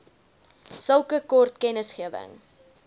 sulke kort kennisgewing